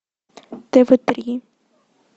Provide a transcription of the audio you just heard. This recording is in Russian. тв три